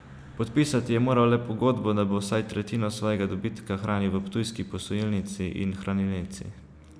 Podpisati je moral le pogodbo, da bo vsaj tretjino svojega dobitka hranil v ptujski posojilnici in hranilnici.